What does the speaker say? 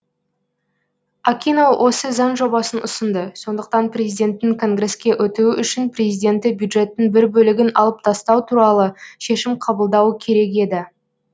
акино осы заң жобасын ұсынды сондықтан президенттің конгреске өтуі үшін президенті бюджеттің бір бөлігін алып тастау туралы шешім қабылдауы керек еді